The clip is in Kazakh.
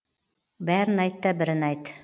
бәрін айтта бірін айт